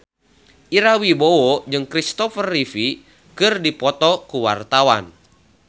Ira Wibowo jeung Christopher Reeve keur dipoto ku wartawan